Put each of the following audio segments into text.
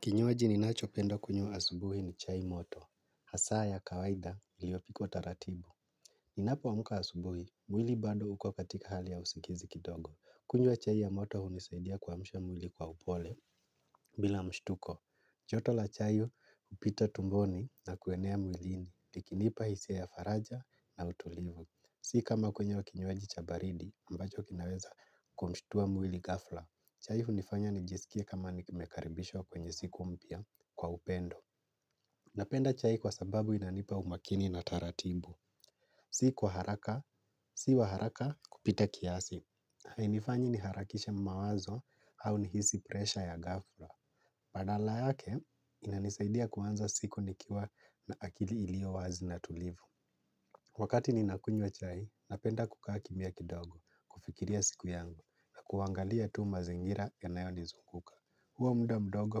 Kinywaji ninacho penda kunywa asubuhi ni chai moto. Hasaa ya kawaida iliyopikwa taratibu. Ninapoamka asubuhi, mwili bado uko katika hali ya usingizi kidogo. Kunywa chai ya moto hunisaidia kuamsha mwili kwa upole, bila mshtuko. Joto la chai hupito tumboni na kuenea mwilini. Ikinipa hisia ya faraja na utulivu. Si kama kunywa kinywaji cha baridi ambacho kinaweza kumshtua mwili ghafla. Chai hunifanya nijisikie kama nikimekaribishwa kwenye siku mpya. Kwa upendo napenda chai kwa sababu inanipa umakini na taratibu. Si kwa haraka, si wa haraka kupita kiasi. Hainifanyi niharakishe mawazo au nihisi presha ya ghafla. Badala yake, inanisaidia kuanza siku nikiwa na akili iliyo wazi na tulivu. Wakati ninakunywa chai, napenda kukaa kimya kidogo, kufikiria siku yangu, na kuangalia tu mazingira yanayo nizunguka. Huo mda mdogo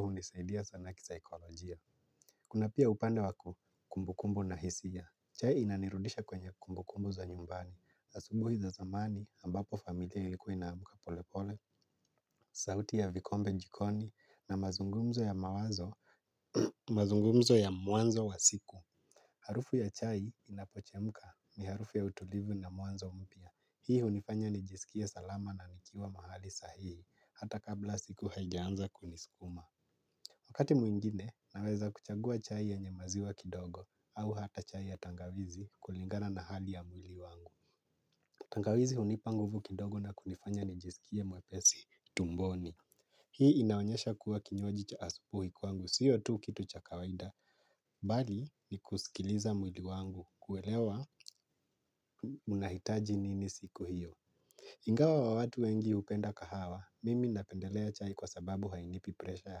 hunisaidia sana kisaikolojia. Kuna pia upande wa kumbu kumbu na hisia. Chai inanirudisha kwenye kumbu kumbu za nyumbani. Asubuhi za zamani ambapo familia ilikuwa inaamuka pole pole sauti ya vikombe jikoni na mazungumzo ya mawazo mazungumzo ya mwanzo wa siku harufu ya chai inapochemka ni harufu ya utulivu na mwanzo mpya. Hii hunifanya nijisikie salama na nikiwa mahali sahihi. Hata kabla siku haijaanza kuniskuma wakati mwingine, naweza kuchagua chai yenye maziwa kidogo au hata chai ya tangawizi kulingana na hali ya mwili wangu. Tangawizi hunipa nguvu kidogo na kunifanya nijisikie mwepesi tumboni. Hii inaonyesha kuwa kinywaji cha asubuhi kwangu, siyo tu kitu cha kawaida. Bali ni kusikiliza mwili wangu kuelewa unahitaji nini siku hiyo. Ingawa wa watu wengi hupenda kahawa, mimi napendelea chai kwa sababu hainipi presha ya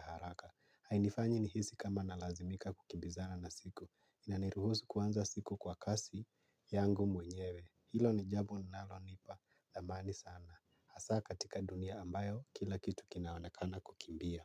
haraka. Hainifanyi nihisi kama nalazimika kukimbizana na siku. Inaniruhusu kuanza siku kwa kasi yangu mwenyewe. Hilo ni jambo linalonipa dhamani sana. Hasaa katika dunia ambayo kila kitu kinaonekana kukimbia.